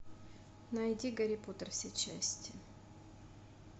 найди гарри поттер все части